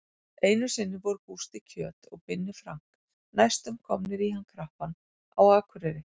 Einu sinni voru Gústi kjöt og Binni Frank næstum komnir í hann krappan á Akureyri.